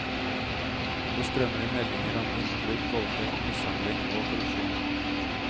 Det strømmer inn meldinger om innbrudd, voldtekt, mishandling og korrupsjon.